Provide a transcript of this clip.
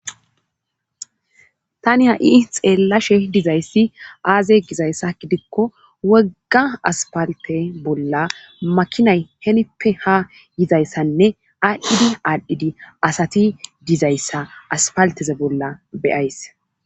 tani ha7i xeellashe dizayssi aaze gizayssa gidikko wogga aspalte bolla makinay henippe ha yizayssanne aadhdhidi aadhdhidi asati dizayssa aspalteze bolla beyays